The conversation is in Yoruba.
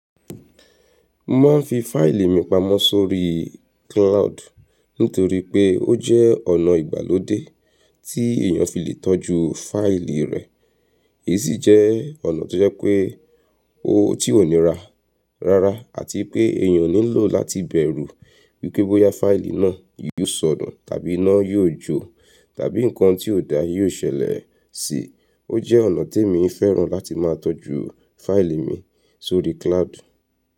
Mo ma n fi faili mi pamọ sorí cloud nitori pe o jẹ ọna igbalode ti eniyan fi le tọju faili rẹ. Esi jẹ ọna to jẹ pe o ti o ni ra rara ati pe ẹyan o ni lo lati bẹru wipe boya faili na yio sọnu tabi ina yio jo tabi nkan ti o da yio ṣẹlẹ si. O jẹ ọna ti mo fẹran lati ma tọju faili mi sorí cloud.